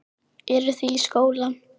Eru þið í skóla?